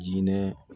Jinɛ